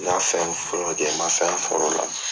N' y'a fɛn fɔlɔ kɛ n ma fɛn sɔr'ola